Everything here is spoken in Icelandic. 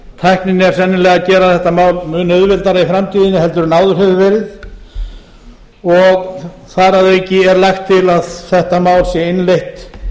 tæknin er sennilega að gera þetta mál mun auðveldara í framtíðinni en áður hefur verið og þar að auki er lagt til að þetta mál sé innleitt